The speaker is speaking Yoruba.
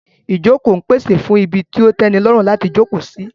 Ìjókòó ń pèsè fún ibi tó tẹ́nilọ́rùn láti jókòó sí